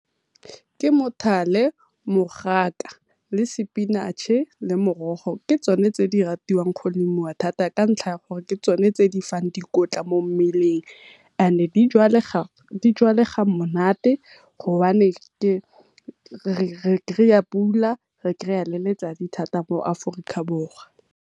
Ke , mogaka le spinach-e, le morogo ke tsone tse di ratiwang go lemiwa thata ka ntlha ya gore ke tsone tse di fang dikotla mo mmeleng. Ene di jalega monate go bane re kry-a pula re kry-a le letsatsi thata mo Aforika Borwa.